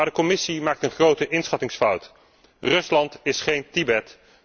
Maar de Commissie maakt een grote inschattingsfout Rusland is geen Tibet.